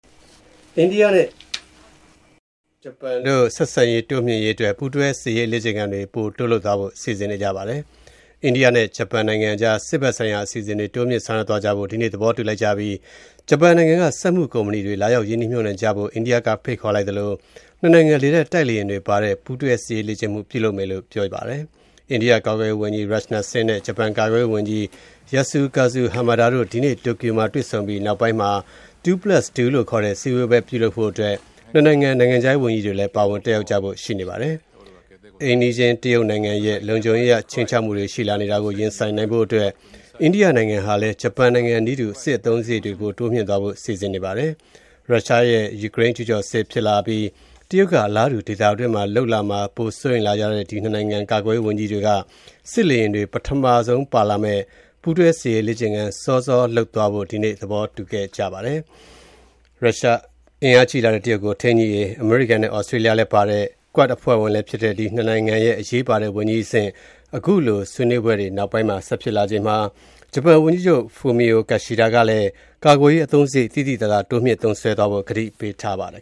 အိန္ဒိယနဲ့ဂျပန်တို့ ဆက်ဆံရေးတိုးမြှင့်ရေးအတွက် ပူးတွဲစစ်ရေးလေ့ကျင့်ခန်းတွေ ပိုတိုးလုပ်သွားဖို့ စီစဉ်နေကြပါတယ်။ အိန္ဒိယနဲ့ဂျပန်နိုင်ငံအကြား စစ်ဘက်ဆိုင်ရာအစီအစဉ်တွေ တိုးမြှင့်ဆောင်ရွက်သွား ကြဖို့ ဒီကနေ့ သဘောတူလိုက်ကြပြီး ဂျပန်နိုင်ငံက စက်မှုကုမ္ပဏီတွေ လာရောက် ရင်းနှီးမြုပ်နှံကြဖို့ အိန္ဒိယကဖိတ်ခေါ်လိုက်သလို နှစ်နိုင်ငံ လေတပ်တိုက်လေယာဉ်တွေပါဝင်တဲ့ ပူးတွဲစစ်ရေးလေ့ကျင့်မှု ပြုလုပ်ကြမယ်လို့ ပြောပါတယ်။ အိန္ဒိယကာကွယ်ရေးဝန်ကြီး Rajnath Singh နဲ့ ဂျပန်ကာကွယ်ရေးဝန်ကြီး Yasukazu Hamada တို့ ဒီကနေ့ တိုကျိုမြို့မှာတွေ့ဆုံပြီး နောက်ပိုင်းမှာ “Two-plus-two” လို့ခေါ်တဲ့ စည်းဝေးပွဲ ပြုလုပ်ဖို့ နှစ်နိုင်ငံ နိုင်ငံခြားရေးဝန်ကြီးတွေလည်း ပါဝင် တက်ရောက်ကြဖို့ ရှိပါတယ်။ အိမ်နီးချင်းတရုတ်နိုင်ငံရဲ့ လုံခြုံရေးအရ ခြိမ်းခြောက်မှုတွေ ရှိလာနေတာကို ရင်ဆိုင်နိုင်ဖို့အတွက် အိန္ဒိယနိုင်ငံဟာလည်း ဂျပန်နိုင်ငံနည်းတူ စစ်အသုံးစားရိတ်တွေ တိုးမြှင့်သွားဖို့ စီစဉ်နေပါတယ်။ ရုရှားရဲ့ယူကရိန်းကျုးကျော်စစ်ဖြစ်လာပြီး တရုတ်က အလားတူ ဒေသတွင်းမှာလုပ် လာမှာ ပိုစိုးရိမ်လာကြတဲ့ ဒီ ၂ နိုင်ငံ ကာကွယ်ရေးဝန်ကြီးတွေက စစ်လေယာဉ်တွေ ပထမဆုံးပါလာမယ့် ပူးတွဲစစ်ရေးလေ့ကျင့်ခန်း စောစောလုပ်သွားဖို့ ဒီနေ့ သဘောတူခဲ့ပါတယ်။ အင်အားကြီးလာတဲ့ တရုတ်ကို ထိန်းညှိရေး အမေရိကန်နဲ့ သြစတြေးလျလည်းပါတဲ့ QUAD အဖွဲ့ဝင်လည်းဖြစ်တဲ့ ဒီ ၂ နိုင်ငံ ကာကွယ်ရေးဝန်ကြီးတွေ အခုတွေ့ အပြီး ၂ ဘက် နိုင်ငံခြားရေးဝန်ကြီးတွေလည်း ထပ်ပါမယ့် Two-Plus-Two ဆွေးနွေးပွဲ ဆက်ဖို့လည်းရှိနေပါတယ်။ ဂျပန်ဝန်ကြီးချုပ် Fumio Kishida ကလည်း ကာကွယ်ရေးအသုံးစရိတ် သိသိသာသာ တိုးမြှင့်သုံးစွဲသွားဖို့ ကတိပြုထားပါတယ်